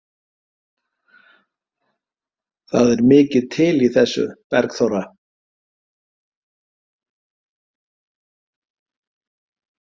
Það er mikið til í þessu, Bergþóra.